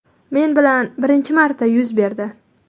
Men bilan birinchi marta yuz berdi.